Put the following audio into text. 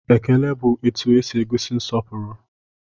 Ekele bụ etu esi egosi nsọpụrụ